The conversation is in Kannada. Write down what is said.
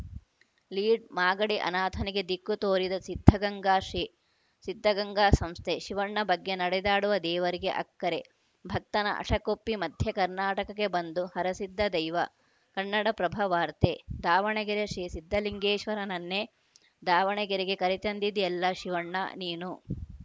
ಲೀಡ್‌ ಮಾಗಡಿ ಅನಾಥನಿಗೆ ದಿಕ್ಕು ತೋರಿದ ಸಿದ್ಧಗಂಗಾ ಶ್ರೀ ಸಿದ್ಧಗಂಗಾ ಸಂಸ್ಥೆ ಶಿವಣ್ಣ ಬಗ್ಗೆ ನಡೆದಾಡುವ ದೇವರಿಗೆ ಅಕ್ಕರೆ ಭಕ್ತನ ಹಠಕ್ಕೊಪ್ಪಿ ಮಧ್ಯ ಕರ್ನಾಟಕಕ್ಕೆ ಬಂದು ಹರಸಿದ್ದ ದೈವ ಕನ್ನಡಪ್ರಭವಾರ್ತೆ ದಾವಣಗೆರೆ ಶ್ರೀ ಸಿದ್ಧಲಿಂಗೇಶ್ವರನನ್ನೇ ದಾವಣಗೆರೆಗೆ ಕರೆ ತಂದಿದ್ದೀಯಲ್ಲಾ ಶಿವಣ್ಣ ನೀನು